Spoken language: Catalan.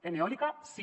en eòlica sí